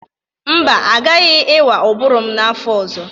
Mba, agaghị ịwa ụbụrụ m n'afọ ọzọ.